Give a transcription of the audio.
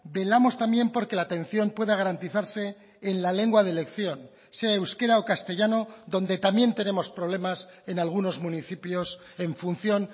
velamos también porque la atención pueda garantizarse en la lengua de elección sea euskera o castellano donde también tenemos problemas en algunos municipios en función